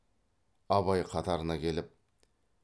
абай қатарына келіп